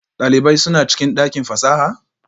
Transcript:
Dalibai suna cikin dakin fasaha?